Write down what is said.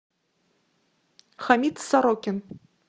хамит сорокин